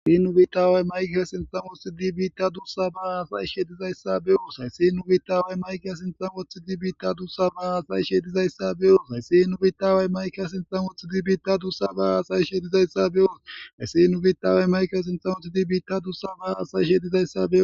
Haysi nubitawey mayka sinsomothi dibiitta dussa baa asayi shedizayssa beyoos hayssi nubitawey maykeya sinsomothi dibiitta dussa ba asayi shedizayssa beoos hayssi nubitawey maykya sinsomothi dibiitta dussa baa aasay shedizayssa be7oos haysi nubitawey mayke sinsomothi di biitta dussa baa asay shedizayssa beo